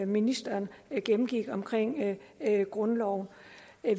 ministeren gennemgik omkring grundloven